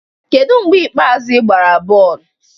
Kedu mgbe ikpeazụ ị gbara bọọlụ?